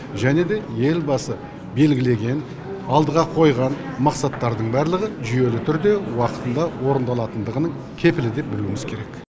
және де елбасы белгілеген алдыға қойған мақсаттардың барлығы жүйелі түрде уақытында орындалатындығының кепілі деп білуіміз керек